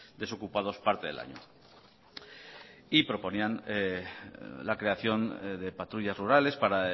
desocupados parte del año y proponían la creación de patrullas rurales para